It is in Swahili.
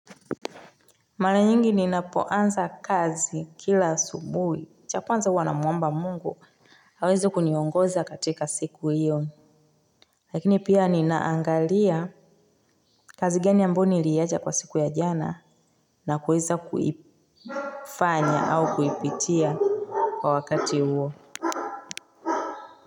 Mala nyingi ninapoanza kazi kila asubuhi, cha kwanza huwa namuomba mungu, aweze kuniongoza katika siku hiyo. Lakini pia ninaangalia kazi gani ambayo niliicha kwa siku ya jana na kuweza kuifanya au kuipitia kwa wakati huo.